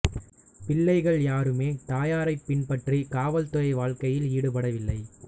பிள்ளைகள் யாருமே தாயாரைப் பின்பற்றி காவல் துறை வாழ்க்கையில் ஈடுபடவில்லை